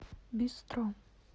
бистро